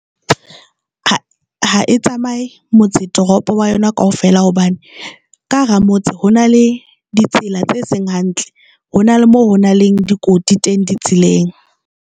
Ha e tsamaye motse toropo wa yona kaofela hobane ka hara motse ho na le ditsela tse seng hantle, ho na le moo ho na le dikoti teng di tseleng.